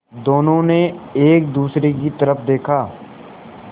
दोनों ने एक दूसरे की तरफ़ देखा